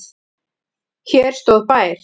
Hér stóð bær.